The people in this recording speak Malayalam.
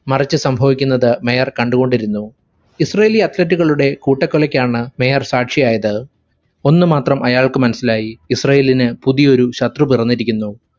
മറിച്ചു സംഭവിക്കുന്നത് mayor കണ്ടുകൊണ്ടിരുന്നു. israeli athlete ഉകളുടെ കൂട്ടക്കൊലക്കാണ് mayor സാക്ഷിയായത്. ഒന്നു മാത്രം അയാൾക്ക് മനസിലായി, ഇസ്രായേലിന് പുതിയൊരു ശത്രു പിറന്നിരിക്കുന്നു.